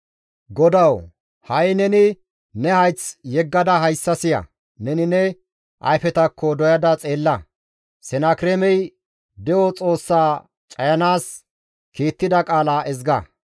GODAWU! Ha7i neni ne hayth yeggada hayssa siya; neni ne ayfetakka doyada xeella; Senakireemey de7o Xoossaa cayanaas kiittida qaala ezga.